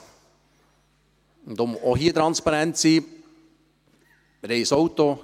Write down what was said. Um auch hier transparent zu sein: